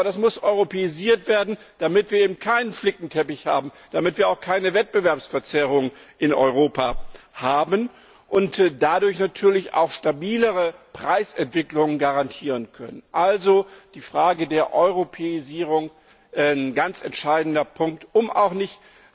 Aber das muss europäisiert werden, damit wir eben keinen Flickenteppich haben, damit wir auch keine Wettbewerbsverzerrung in Europa haben und dadurch natürlich auch stabilere Preisentwicklungen garantieren können. Also Die Frage der Europäisierung ist ein ganz entscheidender Punkt, um auch nicht